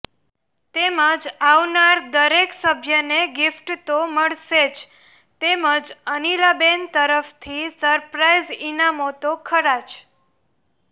તેમજ આવનાર દરેક સભ્યને ગીફ્ટ તો મળશે જ તેમજ અનિલાબેન તરફથી સરપ્રાઈઝ ઈનામતો ખરા જ